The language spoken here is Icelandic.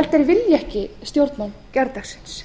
vilji ekki stjórnmál gærdagsins